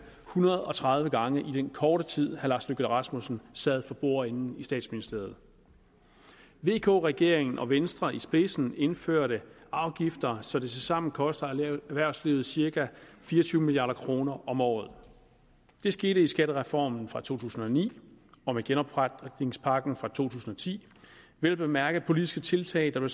hundrede og tredive gange i den korte tid herre lars løkke rasmussen sad for bordenden i statsministeriet vk regeringen med venstre i spidsen indførte afgifter så det tilsammen koster erhvervslivet cirka fire og tyve milliard kroner om året det skete i skattereformen fra to tusind og ni og med genopretningspakken fra to tusind og ti vel at mærke politiske tiltag der